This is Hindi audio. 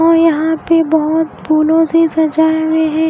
और यहाँ पे बहुत फूलो से सजाया है।